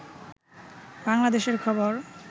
বাংলাদেশের খবর